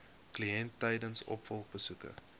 kliënt tydens opvolgbesoeke